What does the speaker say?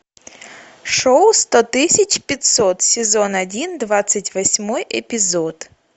шоу сто тысяч пятьсот сезон один двадцать восьмой эпизод